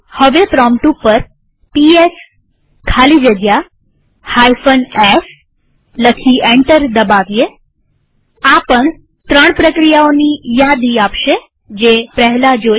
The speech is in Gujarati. હવે પ્રોમ્પ્ટ ઉપર પીએસ ખાલી જગ્યા f લખી એન્ટર દબાવીએઆ પણ ત્રણ પ્રક્રિયાઓની યાદી આપશે જે પહેલા જોઈ